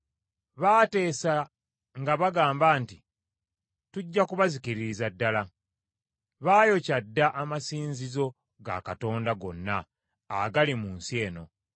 Baateesa nga bagamba nti, “Tujja kubazikiririza ddala!” Baayokya dda amasinzizo ga Katonda gonna agali mu nsi eno.